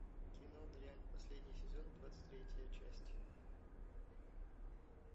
кино дрянь последний сезон двадцать третья часть